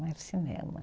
cinema